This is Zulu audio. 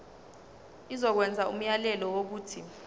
izokwenza umyalelo wokuthi